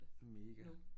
Mega